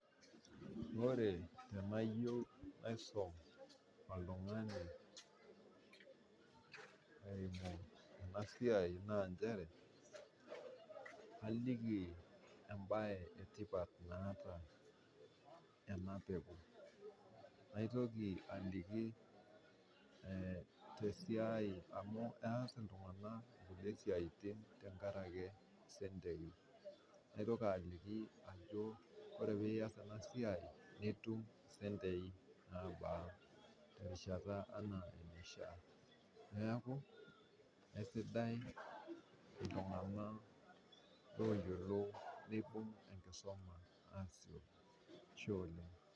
Ore tenaiyeu naisum oltung'ani eimu ena siai naa inchere, naa kaliki embaye etipat naata enapeku, naitoki aliki te siai amuu keas ltung'ana nkule siatin teng'araki sentei, naitoki aliki ajo ore piiya ena siai, nitum sentei nabaa, naaku esidai ltung'ana ooyiolo neibung' enkisuma asioki, ashe oleng'.